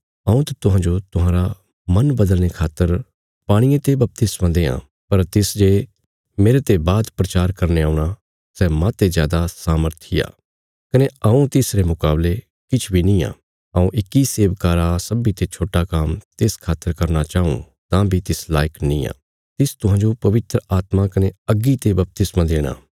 हऊँ त तुहांजो तुहांरे मन बदलने खातर पाणिये ते बपतिस्मा देआं पर तिस जे मेरते बाद प्रचार करने औणा सै माहते जादा सामर्थी आ कने हऊँ तिसरे मुकावले किछ बी नींआ हऊँ इक्की सेवका रा सब्बीं ते छोट्टा काम्म तिस खातर करना चाऊँ तां तिस बी लायक नींआ तिस तुहांजो पवित्र आत्मा कने अग्गी ते बपतिस्मा देणा